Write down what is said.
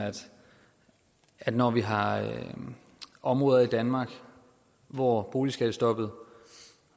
at når vi har områder i danmark hvor boligskattestoppet